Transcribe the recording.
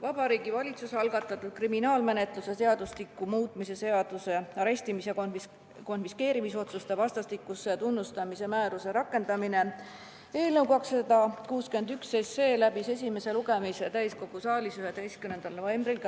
Vabariigi Valitsuse algatatud kriminaalmenetluse seadustiku muutmise seaduse eelnõu 261 läbis esimese lugemise täiskogu saalis 11. novembril.